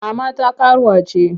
Kama ta karuwa ce!